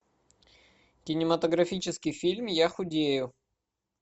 кинематографический фильм я худею